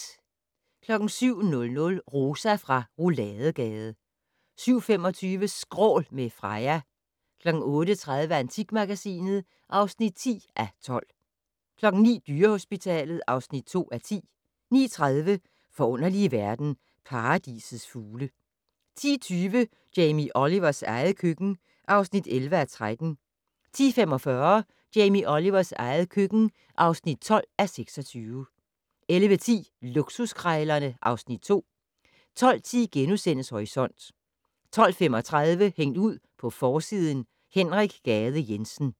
07:00: Rosa fra Rouladegade 07:25: Skrål - med Freja 08:30: Antikmagasinet (10:12) 09:00: Dyrehospitalet (2:10) 09:30: Forunderlige verden - Paradisets fugle 10:20: Jamie Olivers eget køkken (11:13) 10:45: Jamie Olivers eget køkken (12:26) 11:10: Luksuskrejlerne (Afs. 2) 12:10: Horisont * 12:35: Hængt ud på forsiden: Henrik Gade Jensen